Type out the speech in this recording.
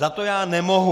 Za to já nemohu.